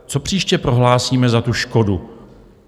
Co příště prohlásíme za tu škodu?